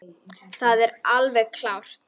Það er alveg klárt.